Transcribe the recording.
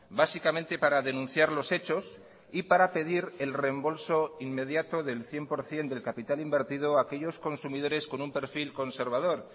básicamente para denunciar los hechos y para pedir el reembolso inmediato del cien por ciento del capital invertido a aquellos consumidores con un perfil conservador